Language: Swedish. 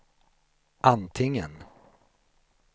antingen